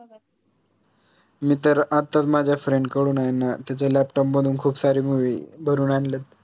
मी तर आताच माझ्या friend कडून आयना त्याच्या laptop मधून खूप सारी movie भरून आणलीत